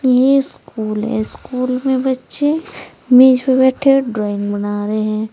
यह स्कूल है स्कूल में बच्चें मेज पर बैठे ड्राइंग बना रहे हैं।